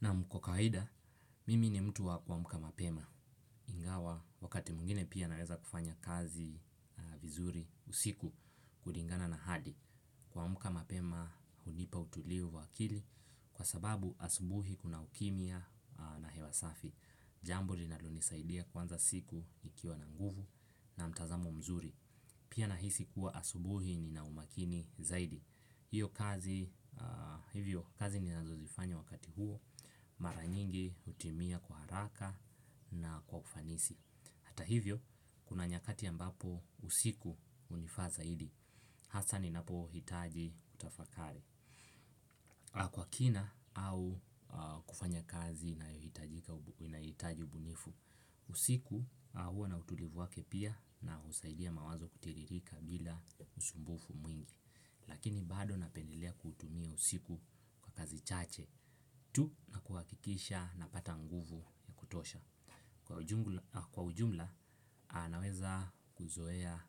Nam kwa kawaida, mimi ni mtu wa kuamka mapema. Ingawa wakati mwingine pia naweza kufanya kazi vizuri usiku kulingana na hadi. Kuamka mapema hunipa utulivu wa akili kwa sababu asubuhi kuna ukimya na hewa safi. Jambuo linalonisaidia kuanza siku nikiwa na nguvu na mtazamo mzuri. Pia nahisi kuwa asubuhi nina umakini zaidi. Hiyo kazi hivyo kazi ninazozifanya wakati huo mara nyingi hutimia kwa haraka na kwa ufanisi. Hata hivyo kuna nyakati ambapo usiku hunifaa zaidi. Hasa ninapohitaji tafakari. Kwa kina au kufanya kazi nahitajiika nahitaji ubunifu. Usiku huwa na utulivu wake pia na husaidia mawazo kutiririka bila usumbufu mwingi. Lakini bado napendelea kuutumia usiku kwa kazi chache tu na kuhakikisha napata nguvu ya kutosha. Kwa ujumla anaweza kuzoea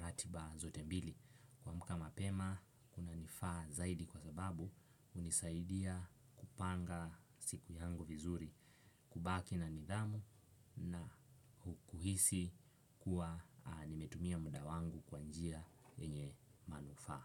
ratiba zote mbili. Kuamka mapema kunanifaa zaidi kwa sababu hunisaidia kupanga siku yangu vizuri. Kubaki na nidhamu na kuhisi kuwa nimetumia muda wangu kwa njia yenye manufaa.